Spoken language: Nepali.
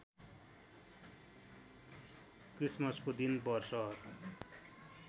क्रिसमसको दिन वर्ष